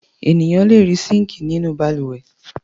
Ènìyàn le rí síńkì nínú balùwẹ̀.